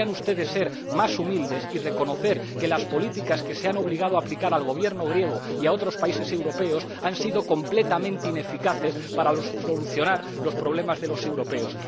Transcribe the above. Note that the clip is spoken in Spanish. Deberían ustedes ser más humildes y reconocer que las políticas que se ha obligado a aplicar al Gobierno griego y a otros países europeos han sido completamente ineficaces para solucionar los problemas de los europeos.